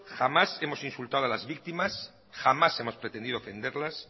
jamás hemos insultado a las víctimas jamás hemos pretendido ofenderlas